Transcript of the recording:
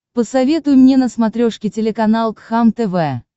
посоветуй мне на смотрешке телеканал кхлм тв